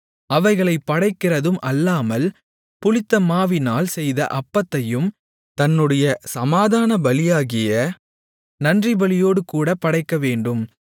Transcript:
அவைகளைப் படைக்கிறதும் அல்லாமல் புளித்தமாவினால் செய்த அப்பத்தையும் தன்னுடைய சமாதானபலியாகிய நன்றிபலியோடுகூட படைக்கவேண்டும்